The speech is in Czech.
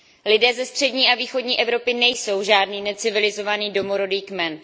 Lidé ze střední a východní Evropy nejsou žádný necivilizovaný domorodý kmen.